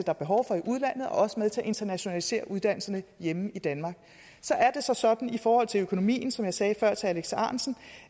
er behov for i udlandet og også er med til at internationalisere uddannelserne hjemme i danmark så er det så sådan i forhold til økonomien som jeg sagde før til alex ahrendtsen